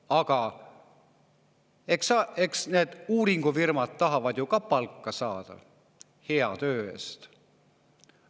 Aga eks need uuringufirmad tahavad ka palka saada hea töö eest.